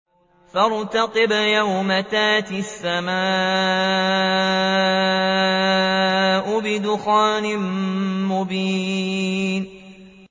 فَارْتَقِبْ يَوْمَ تَأْتِي السَّمَاءُ بِدُخَانٍ مُّبِينٍ